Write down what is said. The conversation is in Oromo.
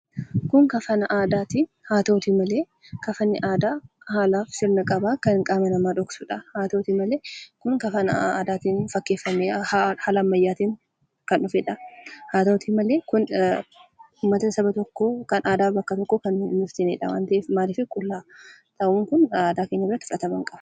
Kun kafana aadaati. Haa ta'u iyyuu malee kafanni aadaa haala sirna qaba. kan qaama namaa dhoksudha. Haa ta'utii malee Kun kafana aadaa keenyaatti fakkeeffamee haala ammayyaa ta'een kan dhufedha. Haa ta'utii malee uummata saba tokkoo kan aadaa bakka tokkoo kan hin ibsinedha hin ibsine waan ta'eefidha. Maaliifii, qullaa taa'uun Kun aadaa keenya biratti fudhatama hin qabu.